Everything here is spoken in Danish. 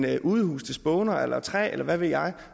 et udhus til spåner eller træ eller hvad ved jeg